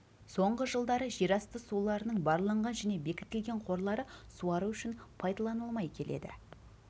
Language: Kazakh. соңғы жылдары жерасты суларының барланған және бекітілген қорлары суару үшін пайдаланылмай келеді